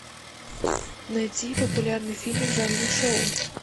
найти популярный фильм в жанре шоу